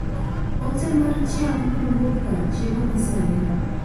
Ote mar chiemo kuwuok kar chiemo ma serena